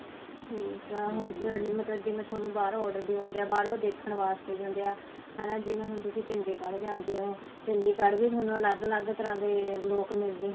ਠੀਕ ਆ ਹੁਣ ਜਿਵੇਂ ਤੁਹਾਨੂੰ ਬਾਹਰੋ order ਵੀ ਆਉਦੇ ਹਾਂ ਬਹਾਰੋ ਦੇਖਣ ਵਾਸਤੇ ਵੀ ਆਉਦੇ ਆ ਹਨਾ ਜਿਵੇਂ ਹੁਣ ਤੁਸੀਂ ਚੰਡੀਗੜ੍ਹ ਜਾਂਦੇ ਹੋ ਚੰਡੀਗੜ੍ਹ ਵੀ ਤੁਹਾਨੂੰ ਅਲੱਗ ਅਲੱਗ ਤਰ੍ਹਾਂ ਦੇ ਲੋਕ ਮਿਲਦੇ